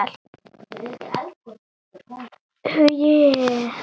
Um hann Arnar.